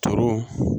Tɔɔrɔ